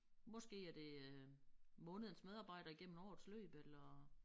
Måske er det øh månedens medarbejder igennem årets løb eller